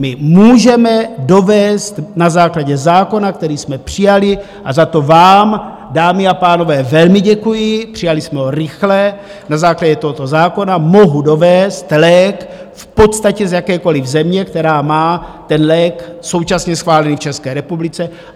My můžeme dovézt na základě zákona, který jsme přijali - a za to vám, dámy a pánové, velmi děkuji, přijali jsme ho rychle - na základě tohoto zákona mohu dovézt lék v podstatě z jakékoliv země, která má ten lék současně schválený v České republice.